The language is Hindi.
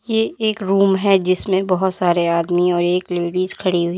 ये एक रूम है जिसमें बहोत सारे आदमी और एक लेडीज खड़ी हुई--